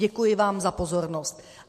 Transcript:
Děkuji vám za pozornost.